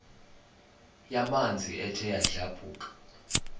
yamanzi ethe yadlabhuka